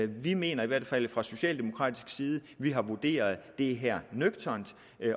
vi mener i hvert fald fra socialdemokratisk side at vi har vurderet det her nøgternt